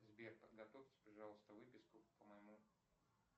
сбер подготовьте пожалуйста выписку по моему